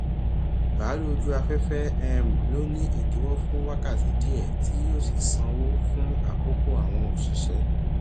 bàálù ojú afẹfẹ um ló ni idiwọ fun wákàtí díẹ tí yíò sì sanwó fún àkókò àwọn òṣìṣẹ